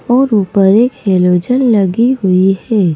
और ऊपर एक हैलोजन लगी हुई है।